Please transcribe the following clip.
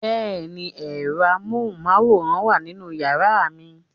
Bẹ́ẹ̀ni, ẹ̀rọ amóhùnmáwòrán wà nínú yàrá mi